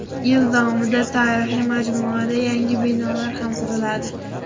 Yil davomida tarixiy majmuada yangi binolar ham quriladi.